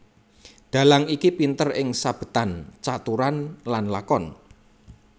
Dhalang iki pinter ing sabetan caturan lan lakon